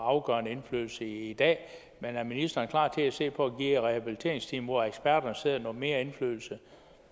afgørende indflydelse i dag men er ministeren klar til at se på at give rehabiliteringsteamet hvor eksperterne sidder noget mere indflydelse